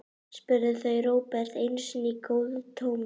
spurðu þau Róbert einu sinni í góðu tómi.